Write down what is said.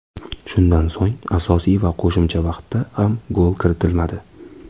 Shundan so‘ng asosiy va qo‘shimcha vaqtda ham gol kiritilmadi.